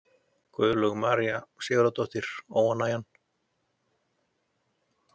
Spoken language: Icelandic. Guðlaug María Sigurðardóttir: Óánægjan?